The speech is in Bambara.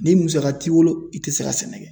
Ni musaka t'i bolo, i tɛ se ka sɛnɛ kɛ.